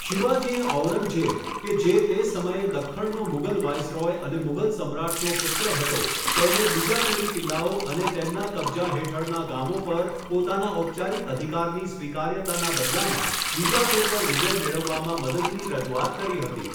શિવાજીએ ઔરંગઝેબ, કે જે તે સમયે દખ્ખણનો મુઘલ વાઇરસરોય અને મુઘલ સમ્રાટનો પુત્ર હતો, તેને બીજાપુરી કિલ્લાઓ અને તેમના કબજો હેઠળના ગામો પર પોતાના ઔપચારિક અધિકારની સ્વીકાર્યતાના બદલામાં બીજાપુર પર વિજય મેળવવામાં મદદની રજૂઆત કરી હતી.